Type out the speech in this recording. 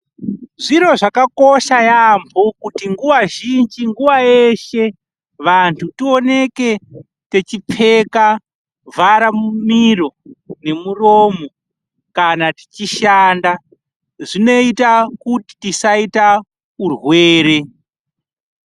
Zviro zvakakosha yaemho kuti nguwa zhinji nguwa yeshe vanhu tioneke techipfeka vhara miro nemuromo kana tichishanda, zvinoita kuti tisaita urwere.